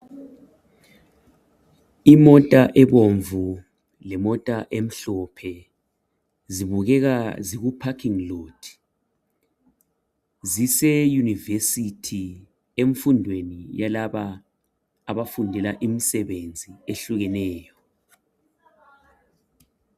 Imota ebomvu lemota emhlophe zibukeka ziku parking lot. Ziseyunivesithi emfundweni yalaba abafundela imisebenzi ehlukeneyo.